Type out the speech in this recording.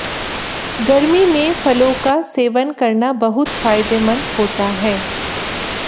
गर्मी में फलों का सेवन करना बहुत फायदेमंद होता है